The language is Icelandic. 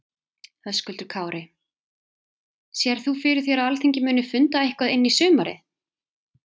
Höskuldur Kári: Sérð þú fyrir þér að Alþingi muni funda eitthvað inn í sumarið?